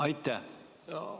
Aitäh!